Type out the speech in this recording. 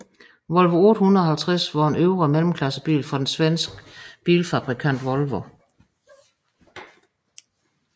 Volvo 850 var en øvre mellemklassebil fra den svenske bilfabrikant Volvo